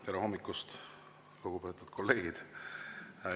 Tere hommikust, lugupeetud kolleegid!